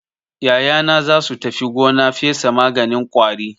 Yayana za su tafi gona fesa maganin ƙwari.